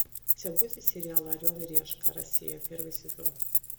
у тебя будет сериал орел и решка россия первый сезон